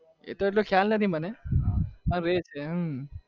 એતો મને ખ્યાલ નથી મને